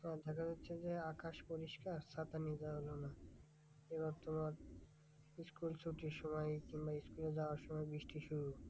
আর দেখা যাচ্ছে যে আকাশ পরিষ্কার ছাতা নিতে হবে না। এবার তোমার school ছুটির সময় কিংবা school এ যাওয়ার সময় বৃষ্টি শুরু হলো